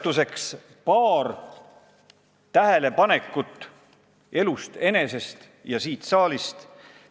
Toon paar tähelepanekut elust enesest ja siit saalist.